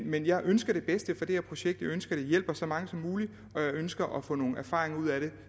men jeg ønsker det bedste for det her projekt jeg ønsker det hjælper så mange som muligt og jeg ønsker at få nogle erfaringer ud af det